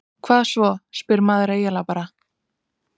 Hvað svo, spyr maður eiginlega bara?